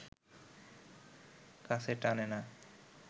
কাছে টানে না